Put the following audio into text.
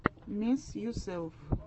месс юселф